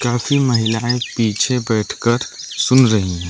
काफी महिलाएं पीछे बैठकर सुन रही हैं।